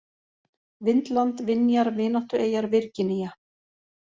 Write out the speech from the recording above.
Vindland, Vinjar, Vináttueyjar, Virginía